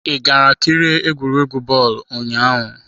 I gara kirie egwuregwu bọọlụ ụnyaahụ?